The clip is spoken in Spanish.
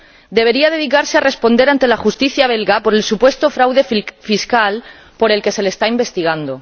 Debería dedicarse a responder ante la Justicia belga por el supuesto fraude fiscal por el que se le está investigando.